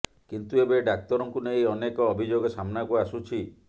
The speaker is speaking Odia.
କିନ୍ତୁ ଏବେ ଡାକ୍ତରଙ୍କୁ ନେଇ ଅନେକ ଅଭିଯୋଗ ସାମ୍ନାକୁ ଆସୁଛି